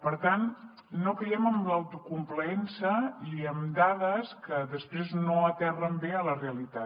per tant no caiguem en l’autocomplaença i amb dades que després no aterren bé a la realitat